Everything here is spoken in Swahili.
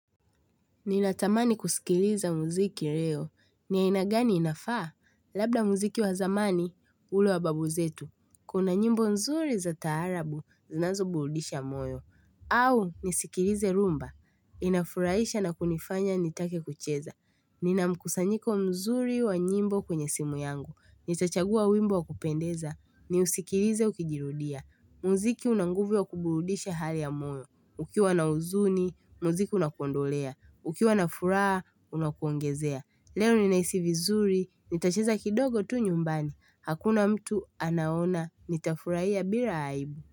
Ninatamani kusikiliza muziki leo. Ni aina gani inafaa? Labda muziki wa zamani, ule wa babu zetu. Kuna nyimbo nzuri za taarabu, zinazoburudisha moyo. Au, nisikilize rumba. Inafurahisha na kunifanya nitake kucheza. Nina mkusanyiko mzuri wa nyimbo kwenye simu yangu. Nitachagua wimbo wa kupendeza. Niusikilize ukijirudia. Muziki una nguvu ya kuburudisha hali ya moyo, ukiwa na huzuni, muziki unakuondolea, ukiwa na furaha, unakuongezea. Leo ninahisi vizuri, nitacheza kidogo tu nyumbani, hakuna mtu anaona, nitafurahia bila aibu.